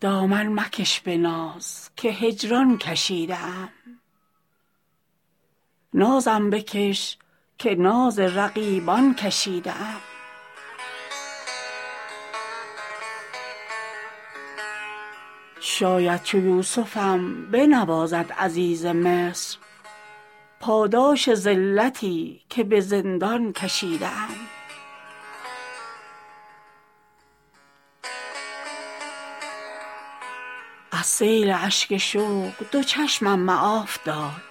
دامن مکش به ناز که هجران کشیده ام نازم بکش که ناز رقیبان کشیده ام شاید چو یوسفم بنوازد عزیز مصر پاداش ذلتی که به زندان کشیده ام از سیل اشک شوق دو چشمم معاف دار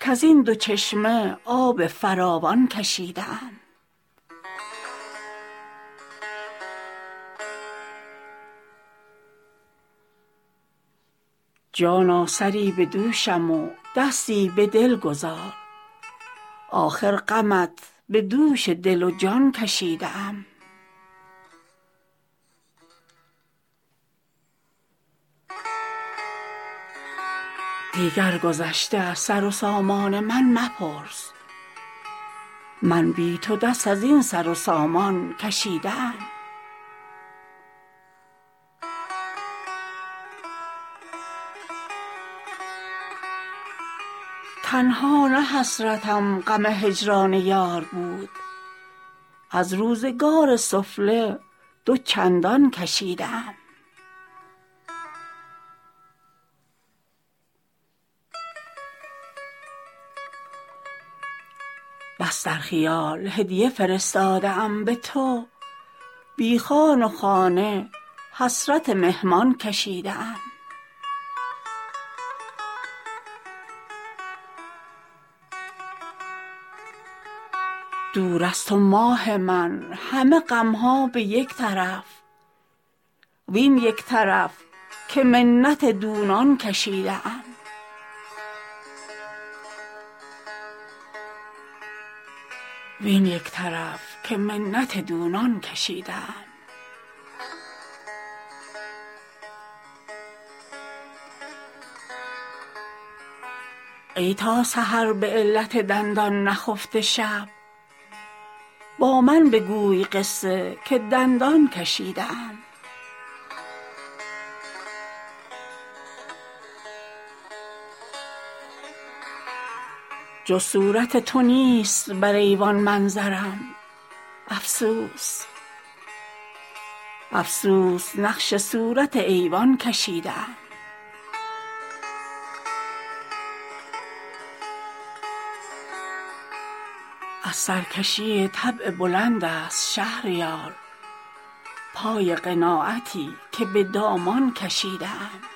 کز این دو چشمه آب فراوان کشیده ام جانا سری به دوشم و دستی به دل گذار آخر غمت به دوش دل و جان کشیده ام دیگر گذشته از سر و سامان من مپرس من بی تو دست از این سر و سامان کشیده ام تنها نه حسرتم غم هجران یار بود از روزگار سفله دو چندان کشیده ام بس در خیال هدیه فرستاده ام به تو بی خوان و خانه حسرت مهمان کشیده ام دور از تو ماه من همه غم ها به یک طرف وین یک طرف که منت دونان کشیده ام ای تا سحر به علت دندان نخفته شب با من بگوی قصه که دندان کشیده ام جز صورت تو نیست بر ایوان منظرم افسوس نقش صورت ایوان کشیده ام از سرکشی طبع بلند است شهریار پای قناعتی که به دامان کشیده ام